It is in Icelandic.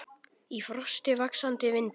Í frosti, vaxandi vindi.